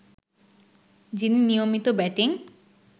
যিনি নিয়মিত ব্যাটিং